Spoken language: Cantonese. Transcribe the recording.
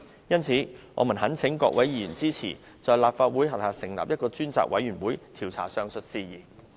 因此我們懇請各位議員支持，在立法會轄下成立一個專責委員會，調查上述事宜。